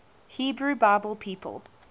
hebrew bible people